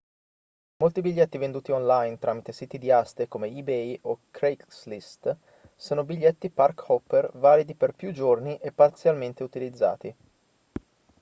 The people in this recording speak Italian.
molti biglietti venduti online tramite siti di aste come ebay o craigslist sono biglietti park-hopper validi per più giorni e parzialmente utilizzati